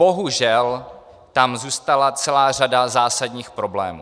Bohužel tam zůstala celá řada zásadních problémů.